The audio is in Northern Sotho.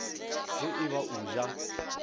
ge e ba o ja